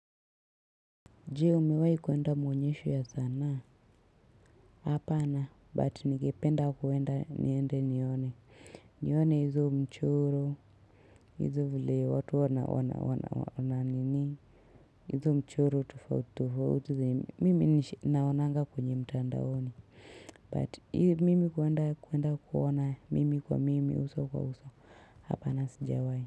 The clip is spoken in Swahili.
Jee umewai kuenda muonyesho ya sanaa hapana but ningependa kuenda niende nione nione hizo mchoro hizo vile watu wana wana wana nini hizo mchoro tofauti tofauti mimi naonanga kwenye mtandaoni but mimi kuenda kuona mimi kwa mimi uso kwa uso hapana sijawai.